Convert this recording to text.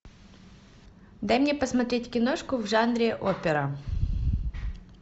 дай мне посмотреть киношку в жанре опера